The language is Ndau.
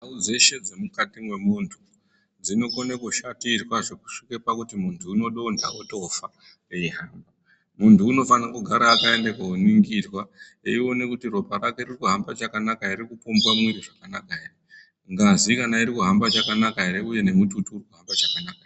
Ndau dzeshe dzemukati mwemuntu dzinokona kushatirwa zvekusvike pakuti muntu unodonha wotofa, eihamba. Muntu unofane kugara akaende koningirwa eiona kuti ropa rake ririkuhambe chakanaka here, ririkupombwa zvakanaka here, ngazi kana irikuhamba chakanaka here uye nemututu urikuhamba chakanaka here.